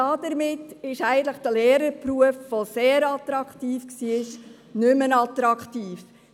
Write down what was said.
Damit ist der Lehrerberuf, der sehr attraktiv war, nicht mehr attraktiv.